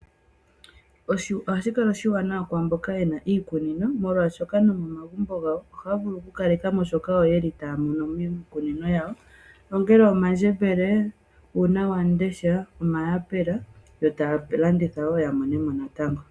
Ohashi kala oshiwanawa kwaamboka yena iikunino molwashoka no momagumbo gawo, ohay vulu oku kalekamo shoka taya mono miikunino yawo, ongele omandjembele, uunawamundesha, omayapela, yo taya landitha wo ya monenemo oshimaliwa.